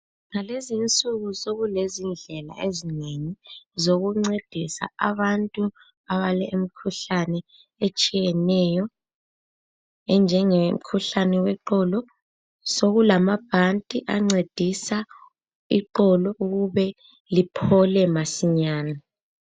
Ngalezinsuku sokulezindlela ezinengi zokuncedisa abantu abalemkhuhlane etshiyeneyo enjengemkhuhlane yeqolo. Sokulamabhanti ancedisa iqolo ukube liphole masinyane.